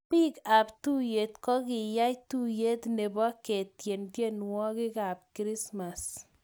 Biik ab chamait ko yiyay tuyet nebo ketien tienwokik ab krismas